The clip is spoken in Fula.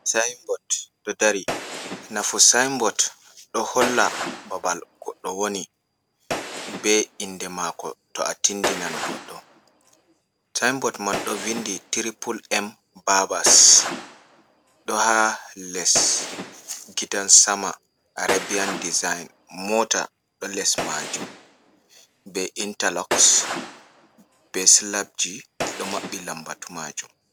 Sinbod ɗo dari, nafu sinbod ɗo holla babal goɗɗo woni be inde mako to a tindinan goɗɗo sinbod man ɗo vindi tripule em babas ɗo ha les gidan sama arabian design, mota ɗo les majum be intaloxs, be slabji, ɗo maɓɓi lambatu majum.